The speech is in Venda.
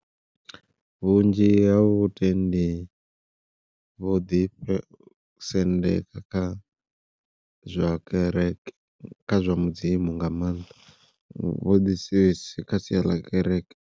Vhunzhi ha vhutendi vho ḓi sendeka kha zwa kereke kha zwa mudzimu nga maanḓa vho ḓi kha sia ḽa kereke.